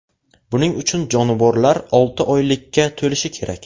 Buning uchun jonivorlar olti oylikka to‘lishi kerak.